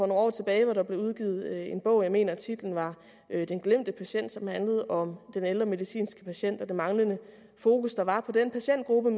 nogle år tilbage blev udgivet en bog jeg mener at titlen var den glemte patient som handlede om den ældre medicinske patient og det manglende fokus der var på den patientgruppe og